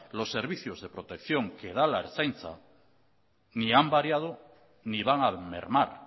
los servicios de protección que da la ertzaintza ni han variado ni van a mermar